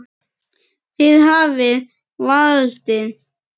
Þið hafið valdið.